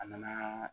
A nana